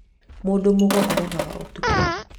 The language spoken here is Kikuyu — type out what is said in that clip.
mũndũ mũgo arogaga ũtukũ